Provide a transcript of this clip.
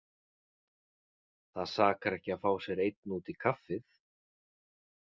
Það sakar ekki að fá sér einn út í kaffið.